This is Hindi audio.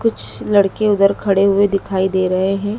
कुछ लड़के उधर खड़े हुए दिखाई दे रहे हैं।